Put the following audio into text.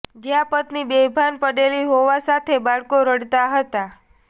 જ્યાં પત્ની બેભાન પડેલી હોવા સાથે બાળકો રડતા હતા